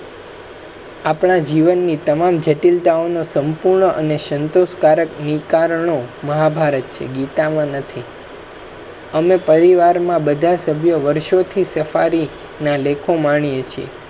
આપણા જીવનની તમામ જટીલતાઓનો સંપૂર્ણ અને સંતોષકારક નિકારણો મહાભારત છે, ગીતા માં નથી. અમે પરિવારમા બધા સભ્યો વર્ષો થી સફારીના લેખો માણીયે છે